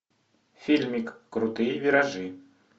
фильмик крутые виражи